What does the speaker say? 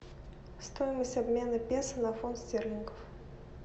стоимость обмена песо на фунт стерлингов